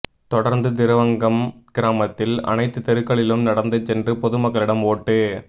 தொடர்ந்து திருவரங்கம் கிராமத்தில் அனைத்து தெருக்களிலும் நடந்து சென்று பொதுமக்களிடம் ஓட்டு